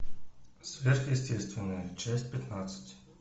сверхъестественное часть пятнадцать